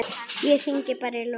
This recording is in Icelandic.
Ég hringi bara í Lúlla.